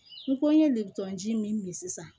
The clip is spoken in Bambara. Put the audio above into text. N ko n ye litɔn ji min min sisan